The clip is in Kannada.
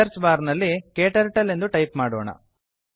ಸರ್ಚ್ ಬಾರ್ ನಲ್ಲಿ ಕ್ಟರ್ಟಲ್ ಎಂದು ಟೈಪ್ ಮಾಡೋಣ